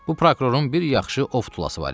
Bu prokurorun bir yaxşı of tulası var idi.